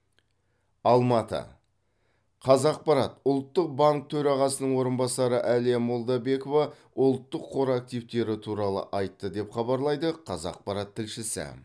алматы қазақпарат ұлттық банк төрағасының орынбасары әлия молдабекова ұлттық қор активтері туралы айтты деп хабарлайды қазақпарат тілшісі